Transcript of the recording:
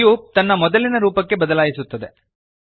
cube ತನ್ನ ಮೊದಲಿನ ರೂಪಕ್ಕೆ ಬದಲಾಯಿಸುತ್ತದೆ